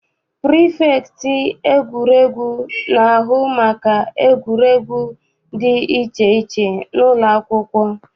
Prifektị egwuregwu na-ahụ maka egwuregwu dị iche iche n'ụlọakwụkwọ.